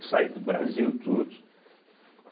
Eu saí do Brasil, tudo.